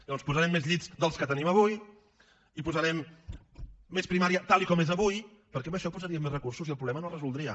llavors posarem més llits dels que tenim avui i posarem més primària tal com és avui perquè amb això posaríem més recursos i el problema no es resoldria